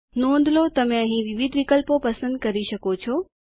નોંધ લો તમે અહીં વિવિધ વિકલ્પો પસંદ કરી શકો છો